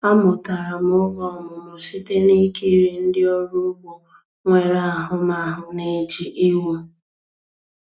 Amụtara m oge ọmụmụ site na ikiri ndị ọrụ ugbo nwere ahụmahụ na-eji ewu.